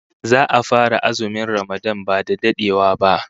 Za'a fara azumin Ramadan ba dadewa